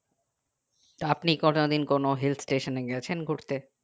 আপনি কোনোদিন কোনো hill stations এ গেছেন ঘুরতে